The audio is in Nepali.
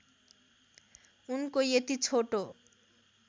उनको यति छोटो